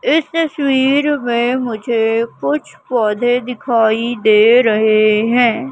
इस तस्वीर में मुझे कुछ पौधे दिखाई दे रहे हैं।